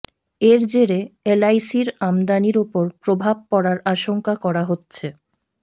এর জেরে এলআইসির আমদানির উপর প্রভাব পড়ার আশঙ্কা করা হচ্ছে